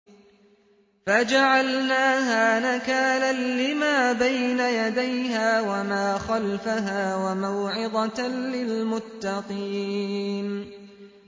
فَجَعَلْنَاهَا نَكَالًا لِّمَا بَيْنَ يَدَيْهَا وَمَا خَلْفَهَا وَمَوْعِظَةً لِّلْمُتَّقِينَ